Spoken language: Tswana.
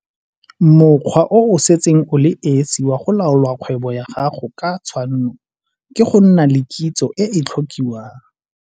Mokgwa o o setseng o le esi wa go laola kgwebo ya gago ka tshwanno ke go nna le kitso e e tlhokiwang.